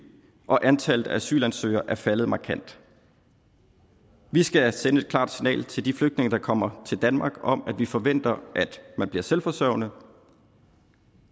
og antallet af asylansøgere er faldet markant vi skal sende et klart signal til de flygtninge der kommer til danmark om at vi forventer at man bliver selvforsørgende